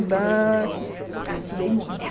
Eu estudei muito.